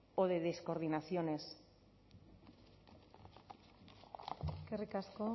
o de descoordinaciones eskerrik asko